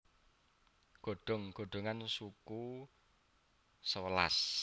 godhong godhongan suku sewelas